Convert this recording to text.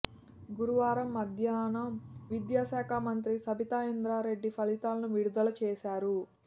గురువారం మధ్యాహ్నం విద్యాశాఖ మంత్రి సబితా ఇంద్రా రెడ్డి ఫలితాలను విడుదల చేశారు